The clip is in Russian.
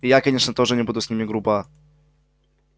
и я конечно тоже не буду с ними груба